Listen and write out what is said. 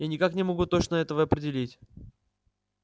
я никак не могу точно этого определить